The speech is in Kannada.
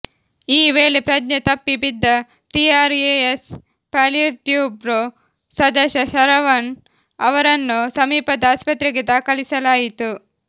ಈ ವೇಳೆ ಪ್ರಜ್ಞೆ ತಪ್ಪಿ ಬಿದ್ದ ಟಿಆರ್ಎಸ್ ಪಾಲಿಟ್ಬ್ಯೂರೊ ಸದಸ್ಯ ಶರವಣ್ ಅವರನ್ನು ಸಮೀಪದ ಆಸ್ಪತ್ರೆಗೆ ದಾಖಲಿಸಲಾಯಿತು